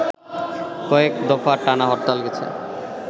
কয়েক দফা টানা হরতাল গেছে